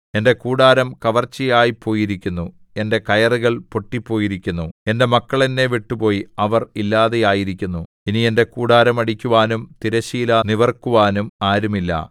എന്റെ കൂടാരം കവർച്ചയായിപ്പോയിരിക്കുന്നു എന്റെ കയറുകൾ പൊട്ടിപ്പോയിരിക്കുന്നു എന്റെ മക്കൾ എന്നെ വിട്ടുപോയി അവർ ഇല്ലാതായിരിക്കുന്നു ഇനി എന്റെ കൂടാരം അടിക്കുവാനും തിരശ്ശീല നിവിർക്കുവാനും ആരുമില്ല